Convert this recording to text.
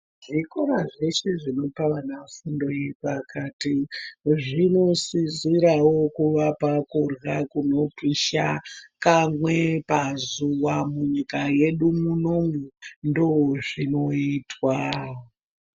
Zvikora zveshe zvinopa vana simbirepakati zvinosisirawo kuvapa kurya kunopisha kamwe pazuwa munyika yedu munomu ndoozvinoitwa.